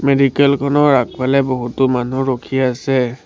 Medical খনৰ আগফালে বহুতো মানুহ ৰখি আছে।